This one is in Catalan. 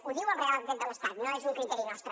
ho diu el reial decret de l’estat no és un criteri nostre